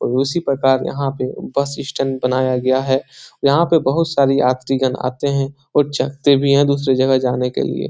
और उसी प्रकार यहाँ पे बस स्टैंड बनाया गया है यहाँ पे बहुत सारे यात्रीगण आते हैं और चढ़ते भी हैं दूसरी जगह जाने के लिए।